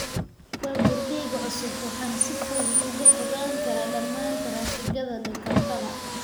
Baabuurkayga cusub, waxaan si fudud uga fogaan karaa dhammaan taraafikada Kampala.